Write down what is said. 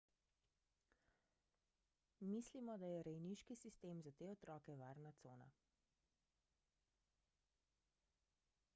mislimo da je rejniški sistem za te otroke varna cona